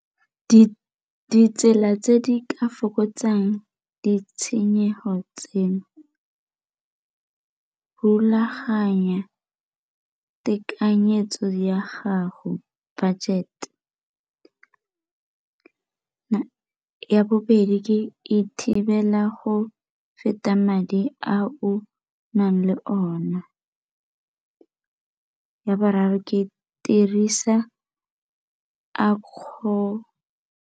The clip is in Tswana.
Ditsela tse di ka fokotsang ditshenyego tse, rulaganya tekanyetso ya gago budget, ya bobedi ke e thibela go feta madi a o nang le ona. Ya boraro ke dirisa a kgolo.